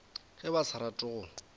ge ba sa rate go